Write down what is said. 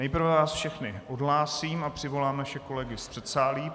Nejprve vás všechny odhlásím a přivolám naše kolegy z předsálí.